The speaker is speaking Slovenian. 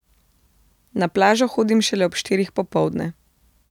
Na plažo hodim šele ob štirih popoldne.